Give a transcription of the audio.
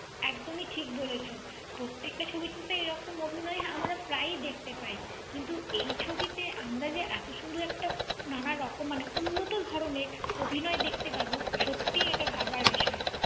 একদমই ঠিক বলেছো। প্রত্যেকটা ছবিতে তো এরকম অভিনয় আমরা প্রায়ই দেখতে পাই। কিন্তু এই ছবিতে আমরা যে এত সুন্দর একটা নানারকম, মানে উন্নত ধরনের অভিনয় দেখতে পাব, সত্যি এটা ভাবার বিষয়।